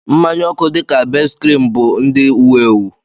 Mmanya oku dị ka Best-cream bụ ndị wu-ewu.